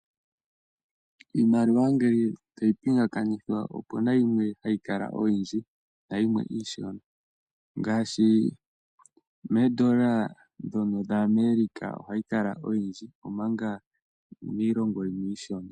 Iimaliwa ngele tayi pingakanithwa opuna yimwe hayi kala oyindji nayimwe iishona , ngaashi meedola dhaAmerica ohayi kala oyindji, omanga miilongo yimwe iishona.